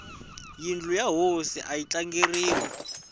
yindlu ya hosi ayi tlangeriwi